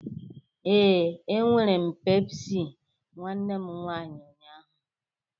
Ee,e were m pepsị nwanne m nwaanyi unyaahụ